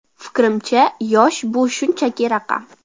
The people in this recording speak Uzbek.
Fikrimcha, yosh bu shunchaki raqam.